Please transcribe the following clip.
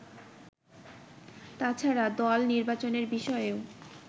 তাছাড়া দল নির্বাচনের বিষয়েও